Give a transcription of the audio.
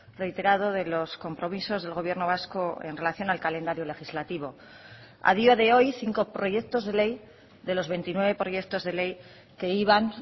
reiterado de los compromisos del gobierno vasco en relación al calendario legislativo a día de hoy cinco proyectos de ley de los veintinueve proyectos de ley que iban